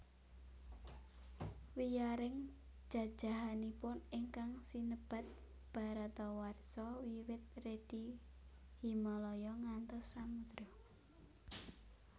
Wiyaring jajahanipun ingkang sinebat Bharatawarsha wiwit Redi Himalaya ngantos Samudra